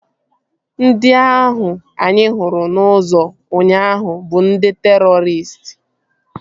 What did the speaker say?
Ndị ahụ anyị hụrụ n'ụzọ ụnyaahụ bụ ndị terọristị